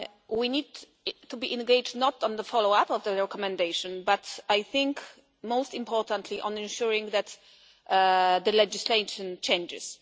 We need to be engaged not only on the follow up of the recommendation but, I think, most importantly on ensuring that the legislation changes.